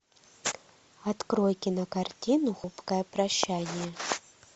открой кинокартину хрупкое прощание